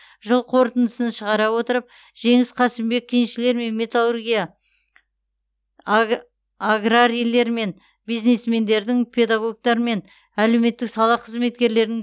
жыл қорытындысын шығара отырып жеңіс қасымбек кеншілер мен металлургия аг аграрийлер мен бизнесмендердің педагогтар мен әлеуметтік сала қызметкерлерінің